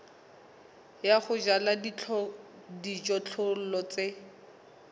ya ho jala dijothollo tse